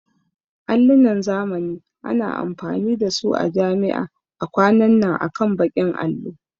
Allinan zamani ana amfani da su a jami'a a kwanan nan akan bakin allo